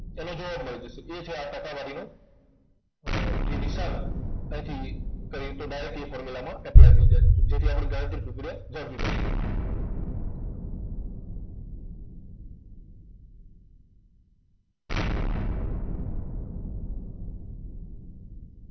તેનો જવાબ મળી જશે. એ છે આ ટકાવારીનો અર જે નિશાન અહીંથી કરીએ તો direct એ formula માં apply થઇ જાય છે. તો જેથી આપણી ગણતરી બની જાય.